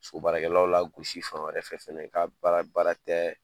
So baarakɛlaw lagosi fan wɛrɛ fɛ fɛnɛ ka baara baara tɛ